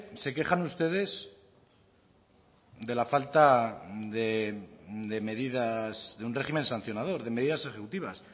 se quejan ustedes de la falta de medidas de un régimen sancionador de medidas ejecutivas